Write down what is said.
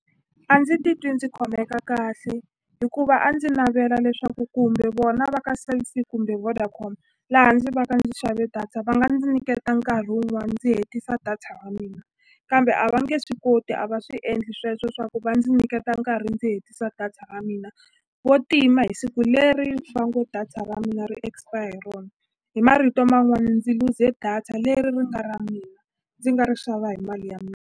A ndzi titwi ndzi khomeka kahle hikuva a ndzi navela leswaku kumbe vona va ka Cell C kumbe Vodacom laha ndzi va ndzi xave data va nga ndzi nyiketa nkarhi wun'wani ndzi hetisa data mina kambe a va nge swi koti a va swi endli sweswo swa ku va ndzi nyiketa nkarhi ndzi hetisa data ra mina vo tima hi siku leri va ngo data ra mina ri expire hi rona hi marito man'wani ndzi luze data leri ri nga ra mina ndzi nga ri xava hi mali ya .